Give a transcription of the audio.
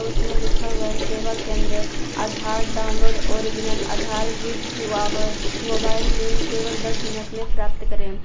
उसमें लिखा हुआ सेवा केंद्र Aadhaar download original Aadhaar with our mobile link केवल दस मिनट में प्राप्त करें।